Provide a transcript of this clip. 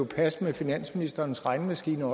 passe med finansministerens regnemaskine